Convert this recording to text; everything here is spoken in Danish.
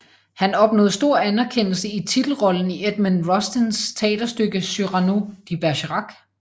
Han opnåede stor anerkendelse i titelrollen i Edmond Rostands teaterstykke Cyrano de Bergerac